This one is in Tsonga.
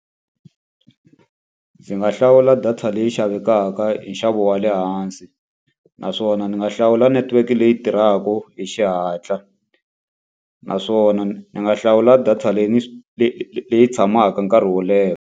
Ndzi nga hlawula data leyi xavekaka hi nxavo wa le hansi, naswona ndzi nga hlawula network-e leyi tirhaka hi xihatla. Naswona ni nga hlawula data leyi ni leyi tshamaka nkarhi wo leha.